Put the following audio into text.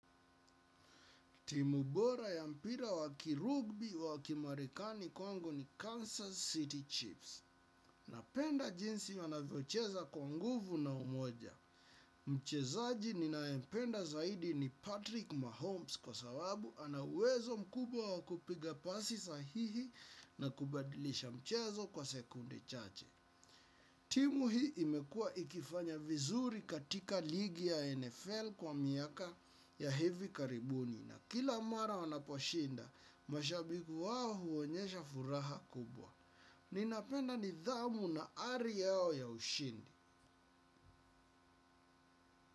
Timu bora ya mpira wa kirugby wa kimarikani kwangu ni Kansas City. Chips. Napenda jinsi wanavyocheza kwa nguvu na umoja. Mchezaji ninayempenda zaidi ni Patrick Mahomes kwa sababu anauwezo mkubwa wa kupiga pasi sahihi na kubadilisha mchezo kwa sekunde chache. Timu hii imekua ikifanya vizuri katika ligi ya NFL kwa miaka ya hivi karibuni. Na kila mara wanaposhinda, mashabiki wao huonyesha furaha kubwa. Ninapenda nidhamu na ari yao ya ushindi.